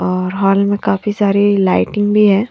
और हॉल में काफी सारी लाइटिंग भी है।